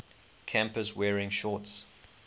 campus wearing shorts